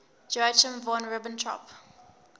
joachim von ribbentrop